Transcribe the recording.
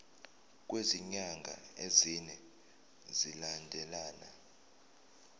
kwezinyanga ezine zilandelana